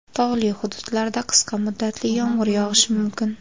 Tog‘li hududlarda qisqa muddatli yomg‘ir yog‘ishi mumkin.